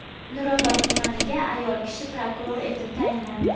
Nurobod tumaniga ayol kishi prokuror etib tayinlandi.